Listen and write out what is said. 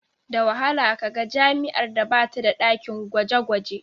Da wahala ka ga jami'ar da ba ta da ɗakin gwaje-gwaje.